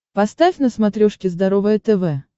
поставь на смотрешке здоровое тв